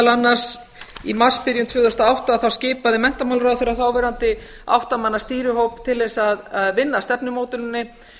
annars í marsbyrjun tvö þúsund og átta skipaði menntamálaráðherra þáverandi átta manna stýrihóp til þess að vinna að stefnumótuninni